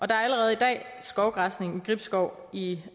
der er allerede i dag skovgræsning i gribskov og i